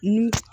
Ni